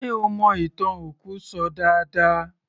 Ṣe ó mọ ìtàn òkú ṣọ dáadáa